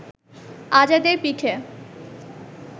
আজাদের পিঠে